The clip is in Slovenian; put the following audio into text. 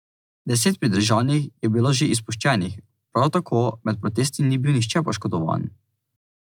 Deset pridržanih je bilo že izpuščenih, prav tako med protesti ni bil nihče poškodovan.